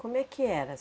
Como é que era